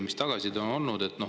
Mis tagasiside on olnud?